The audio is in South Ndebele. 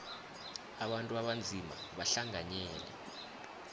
abantu abanzima bahlanganyele